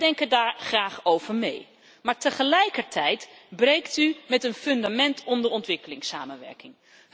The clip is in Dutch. Wij denken daar graag over mee, maar tegelijkertijd breekt u met een fundament onder ontwikkelingssamenwerking.